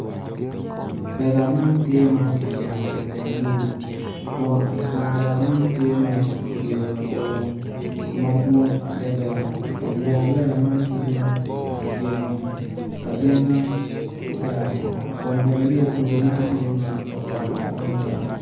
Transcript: lela man tye ma kijengo i teng gudo kun i kom lela man tye ki tweyo labolo madwong adada kun bene lela man tye ma kijengo ajenga ki tal kun bene yo gudo man bene tye ma otal adada.